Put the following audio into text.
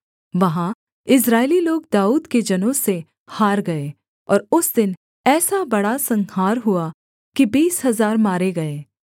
वहाँ इस्राएली लोग दाऊद के जनों से हार गए और उस दिन ऐसा बड़ा संहार हुआ कि बीस हजार मारे गए